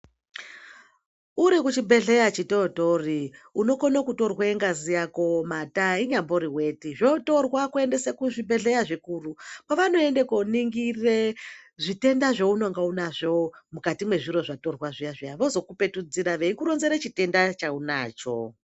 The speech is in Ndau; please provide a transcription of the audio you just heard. Urikuchibhehleya chitotori unokone kutorwe ngazi yako mata inyambori weti zvotorwa kuendesa kuzvibhehleya zvikuru kwavanoende koningire zvitenda zveunonga unazvo mukati mwezviro zvatorwa zviya zviya vozokupetudzira veikuronzere chitenda cheunacho.